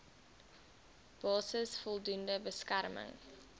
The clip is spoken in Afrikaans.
basis voldoende beskerming